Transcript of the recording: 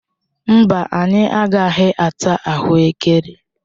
Mba, anyị agaghị ata ahuekere.